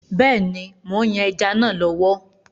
Bẹ́ẹ̀ni, mò ń yan ẹja náà lọ́wọ́.